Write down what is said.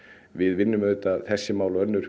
við vinnum auðvitað þessi mál og önnur